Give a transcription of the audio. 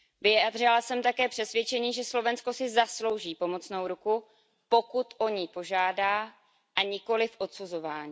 Vyjádřila jsem také přesvědčení, že Slovensko si zaslouží pomocnou ruku, pokud o ni požádá, a nikoliv odsuzování.